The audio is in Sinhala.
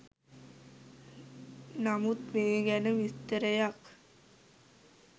නමුත් මේ ගැන විස්තරයක්